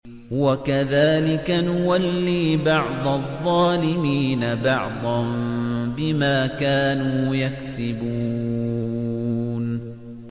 وَكَذَٰلِكَ نُوَلِّي بَعْضَ الظَّالِمِينَ بَعْضًا بِمَا كَانُوا يَكْسِبُونَ